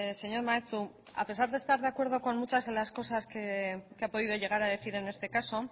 señor maeztu a pesar de estar de acuerdo con muchas de las cosas que ha podido llegar a decir en este caso